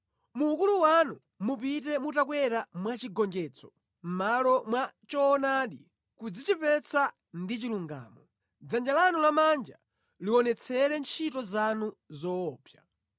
Mu ukulu wanu mupite mutakwera mwachigonjetso mʼmalo mwa choonadi, kudzichepetsa ndi chilungamo; dzanja lanu lamanja lionetsere ntchito zanu zoopsa.